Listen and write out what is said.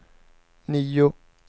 nio